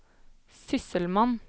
sysselmann